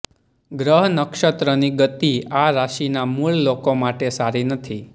ગ્રહ નક્ષત્રની ગતિ આ રાશિના મૂળ લોકો માટે સારી નથી